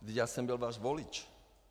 Vždyť já jsem byl váš volič.